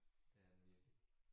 Det er den virkelig